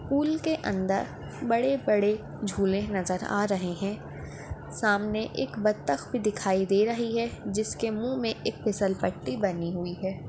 Pool के अंदर बड़े बड़े झूले नजर आ रहे है सामने एक बधक भी दिखाई दे रही है जिसके मुँह में एक फिसलपट्टी बनी हुई है।